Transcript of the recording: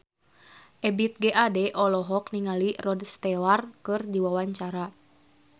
Ebith G. Ade olohok ningali Rod Stewart keur diwawancara